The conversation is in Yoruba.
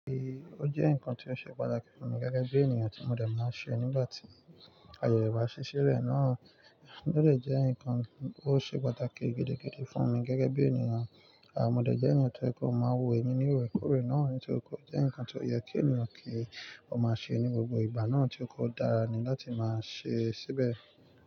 E, o jẹ́ nǹkan tó ṣe pàtàkì fún mi gẹ́gẹ́ bí ènìyàn tí mo dẹ̀ máa ṣe nígbà tí ayẹ ìbà sì ṣí rẹ̀ náà, ó de jẹ́ ǹkan tó ṣe pàtàkì gidigidi fún mi gẹ́gẹ́ bí ènìyàn, àmọ́ dẹ̀ jẹ́ eyan tó kọ̀ máa wò emi ni oore kórè náà, nítorí kọ́ jẹ́ ǹkan tó yẹ kí ènìyàn kí ó máa ṣe ní gbogbo ìgbà náà tí ko dára ni láti máa ṣe síbẹ̀.